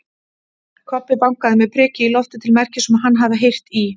Kobbi bankaði með priki í loftið til merkis um að hann hafi heyrt í